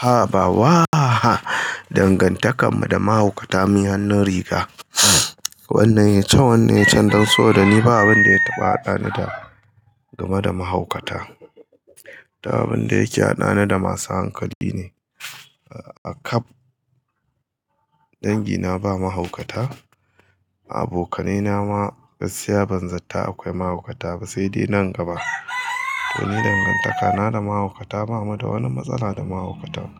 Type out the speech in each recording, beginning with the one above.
A'a ba wa, dangantakar mu da mahaukata munyi hannun riga. Wannan yayi can, wannan yayi can dan so dani ba abinda ya taɓa haɗani da game da mahaukata. Duk abinda yake haɗani da masu hankali ne. A kab dangi na ba mahaukata, a abokanai na ma gaskiya banzata akwai mahaukata ba saidai nan gaba. To ni dangantaka na da mahaukata, bamu da wani matsala da mahaukata.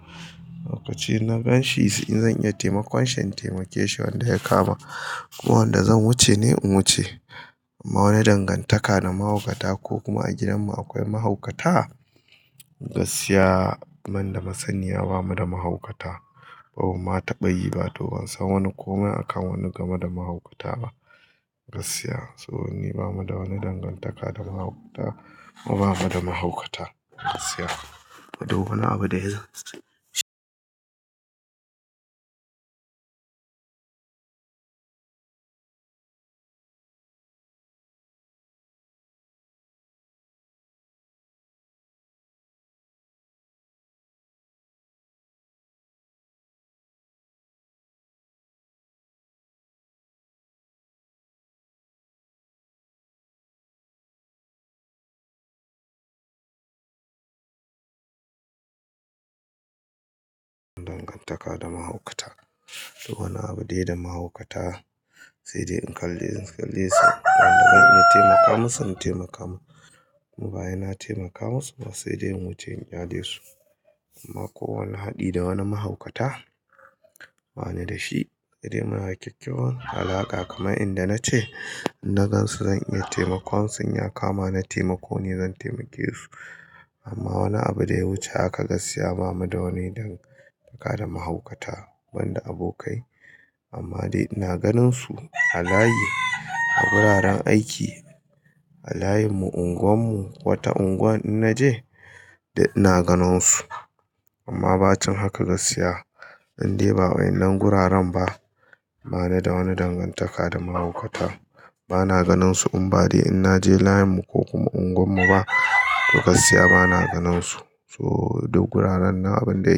Lokaci na ganshi in zan iya taimakon shi in zan iya taimakonshi wanda ya kama ko wanda zan wuce ne in wuce. Ma wani dangantaka da mahaukata ko kuma a gidan mu akwai mahaukata? Gaskiya man da masaniya bamuda mahaukata. Bamu ma taɓa yi ba to bansan wani komai akan wani game da mahaukata ba. Gaskiya so ni bamu da wani dangantaka da mahaukata kuma bamu da mahaukata gaskiya. Ma duk wani abu da ya dangantaka da mahaukata. Duk wani abu dai da mahaukata sai dai in kalle-- in kalle su. Wanda zan iya taimaka musu in taimaka musu kowa yana taimaka musu ba sai dai in wuce in kyale su. Ma ko wani haɗi da wani mahaukata? Ba ni da shi. Sai dai muna kyakkyawan alaƙa kamar in da na ce, in na gansu zan iya taimakon sun, in ya kama na taimako ne zan taimake su. Amma wani abu da ya wuce haka gaskiya ba mu da wani dangantaka da mahaukata banda abokai. Amma dai ina ganin su a layi, a wuraren aiki, a layin mu, unguwar mu, wata unguwa in na je dai ina ganin su. Amma bacin haka gaskiya, in dai ba wai ina guraren ba, ba ni da wani dangantaka da mahaukata. Ba na ganin su in ba dai in na je layin mu ko kuma unguwar mu ba to gaskiya ba na ganin su. So duk guraren na abun da-